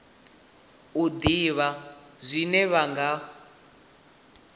u ḓivha zwine vha nga